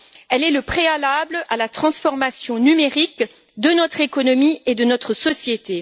Elle est le préalable à la transformation numérique de notre économie et de notre société.